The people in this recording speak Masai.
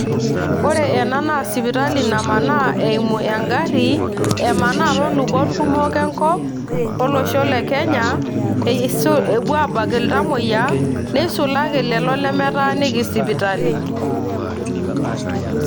ore ena naa sipitali namanaa eimu engari, emanaa toolubot kumok enkop olosho le kenya eisul epuo abak iltamoyiaki ,neisulaki lelo lemetaaniki sipitali.